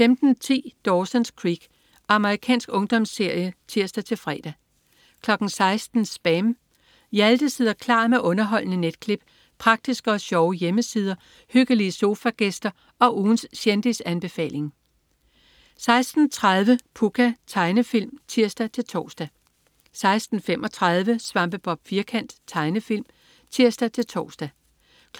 15.10 Dawson's Creek. Amerikansk ungdomsserie (tirs-fre) 16.00 SPAM. Hjalte sidder klar med underholdende netklip, praktiske og sjove hjemmesider, hyggelige sofagæster og ugens kendisanbefaling 16.30 Pucca. Tegnefilm (tirs-tors) 16.35 Svampebob Firkant. Tegnefilm (tirs-tors)